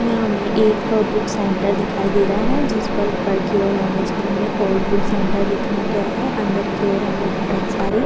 यहाँ हमे एक बुक सेंटर दिखाई दे रहा ह जिस पर ऊपर की ओर ऑरेंज कलर में ओल्ड बुक सेंटर लिखा गया है अंदर की ओर हमें बहुत सारी --